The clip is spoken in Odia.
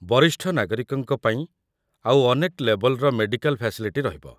ବରିଷ୍ଠ ନାଗରିକଙ୍କ ପାଇଁ ଆଉ ଅନେକ ଲେବଲ୍‌ରେ ମେଡିକାଲ୍ ଫ୍ୟାସିଲିଟି ରହିବ ।